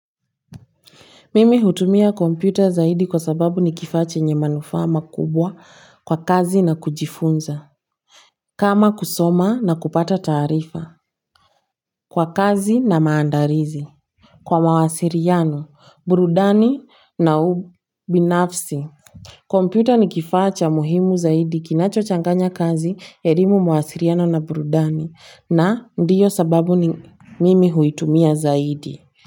Mimi hutumia kompyuta zaidi kwa sababu ni kifaa chenye manufaa makubwa kwa kazi na kujifunza. Kama kusoma na kupata taarifa kwa kazi na maandalizi. Kwa mawasiliano burudani na ubinafsi. Kwa kompyuta ni kifaa cha muhimu zaidi kinacho changanya kazi elimu mawasiliano na burudani na ndiyo sababu mimi huitumia zaidi.